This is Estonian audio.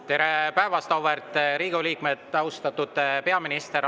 Tere päevast, auväärt Riigikogu liikmed, austatud peaminister!